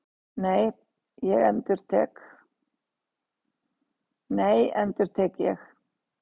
Nei, endurtek ég.